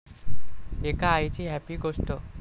एका आईची 'हॅपी' गोष्ट!